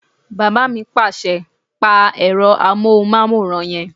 Bàbá mi pàṣẹ "pa ẹ̀rọ amóhùnmáwòrán yẹn!"